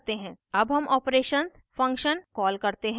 अब हम operations function call करते हैं